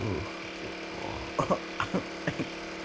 ох всё о